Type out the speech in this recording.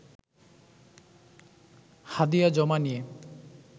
হাদিয়া জমা নিয়ে